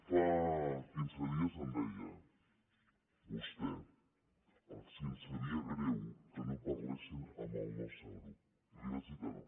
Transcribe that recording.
fa quinze deis em deia vostè si em sabia greu que no parlessin amb el nostre grup i li vagi dir que no